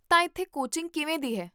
ਤਾਂ ਇੱਥੇ ਕੋਚਿੰਗ ਕਿਵੇਂ ਦੀ ਹੈ?